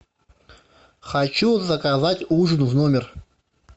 хочу заказать ужин в номер